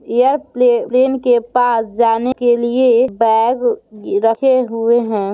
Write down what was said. यह play plane के पास जाने के लिए बैग रखे हुए हैं।